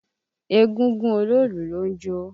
Egúngún Oloolu ló ń jó.